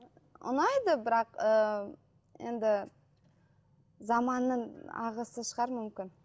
ұнайды бірақ ы енді заманның ағысы шығар мүмкін